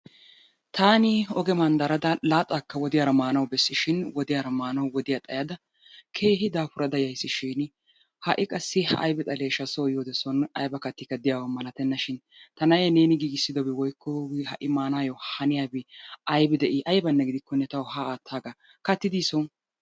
Taani oge manddaradda laaxaakka wodiyaara maanawu bessishiin wodiyaara maanawu wodiya xayada keehi daafurada yayiis shiin ha'i qassi laa aybi xalesha soo yiyode son ayba kattikka de'iyaba malattenna shin ta na'ee neeni giggissiddobi woykko ha'i maanayyo haniyabi aybi de'ii aybbanne giddikkonne tawu haa aattaagarkki katti dii son?